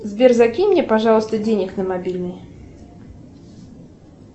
сбер закинь мне пожалуйста денег на мобильный